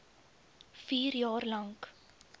vier jaar lank